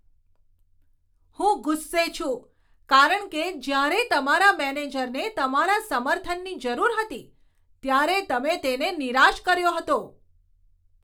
હું ગુસ્સે છું કારણ કે જ્યારે તમારા મેનેજરને તમારા સમર્થનની જરૂર હતી, ત્યારે તમે તેને નિરાશ કર્યો હતો.